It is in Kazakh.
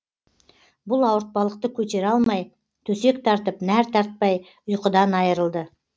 бұл ауыртпалықты көтере алмай төсек тартып нәр татпай ұйқыдан айырылды